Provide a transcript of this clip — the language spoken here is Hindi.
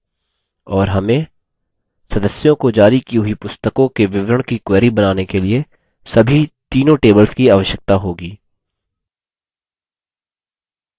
और हमें सदस्यों को जारी की हुई पुस्तकों के विवरण की query बनाने के लिए सभी तीनों tables की आवश्यकता होगी